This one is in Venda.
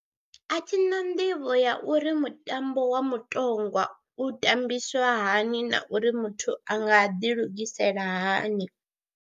A thi na nḓivho ya uri mutambo wa mutongwa u tambiswa hani na uri muthu a nga ḓilugisela hani.